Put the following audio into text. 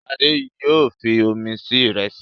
Ṣadé yóò fi omi se ìrẹsì.